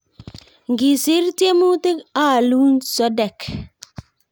Ngisiir tiemutik aalun sodek